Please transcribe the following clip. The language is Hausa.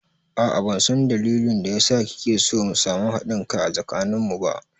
A'a ban san dalilin da ya sa kike so mu samu haɗin kai a tsakanin mu ba